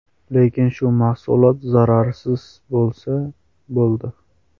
Lekin shu mahsulot zararsiz bo‘lsa, bo‘ldi.